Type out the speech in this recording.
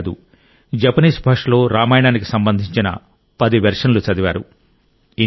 అంతే కాదు జపనీస్ భాషలో రామాయణానికి సంబంధించిన 10 వెర్షన్లు చదివారు